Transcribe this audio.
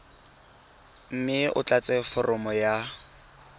mme o tlatse foromo ya